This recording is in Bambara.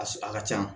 A su a ka can